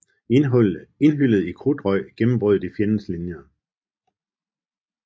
Indhyllet i krudtrøg gennembrød de fjendens linjer